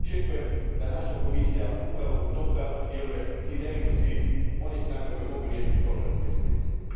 Očekujem da naša Komisija upravo u tom pravcu djeluje, sinergijom svih onih snaga koje mogu riješiti problem na Bliskom istoku.